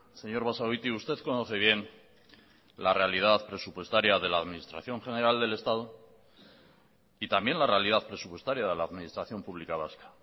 señor basagoiti usted conoce bien la realidad presupuestaria de la administración general del estado y también la realidad presupuestaria de la administración pública vasca